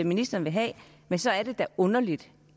ministeren vil have men så er det da underligt